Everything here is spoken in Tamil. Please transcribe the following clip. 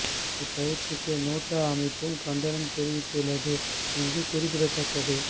இந்த பயிற்சிக்கு நேட்டோ அமைப்பும் கண்டனம் தெரிவித்து உள்ளது இங்கு குறிப்பிடத்தக்கது